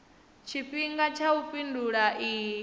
tshifhinga tsha u fhindula iyi